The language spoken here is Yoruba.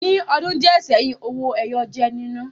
Ní ọdún díẹ̀ seyin, owó ẹyọ jẹ́ nínà